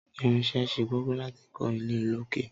Irin ṣe kókó láti kọ ilé olókè.